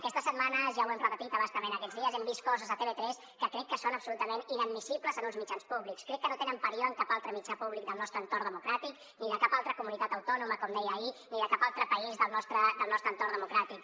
aquestes setmanes ja ho hem repetit a bastament aquests dies hem vist coses a tv3 que crec que són absolutament inadmissibles en uns mitjans públics crec que no tenen parió en cap altre mitjà públic del nostre entorn democràtic ni de cap altra comunitat autònoma com deia ahir ni de cap altre país del nostre entorn democràtic